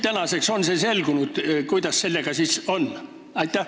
Kas nüüdseks on selgunud, kuidas sellega siis on?